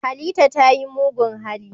Halita ta yi mugun hali.